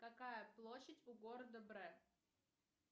какая площадь у города брест